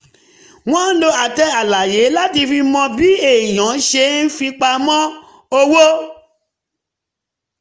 wọ́n lo àtẹ àlàyé láti fi mọ bí èèyàn ṣe ń fipamọ́ owó